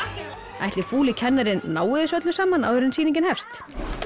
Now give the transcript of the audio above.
ætli fúli kennarinn nái þessu öllu saman áður en sýningin hefst